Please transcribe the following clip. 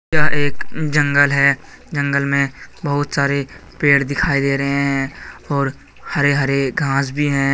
यह एक जंगल है जंगल मे बहुत सारे पेड़ दिखाई दे रहे है और हरे हरे घास भी हैं।